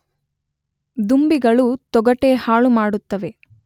ದುಂಬಿಗಳು ತೊಗಟೆ ಹಾಳುಮಾಡುತ್ತವೆ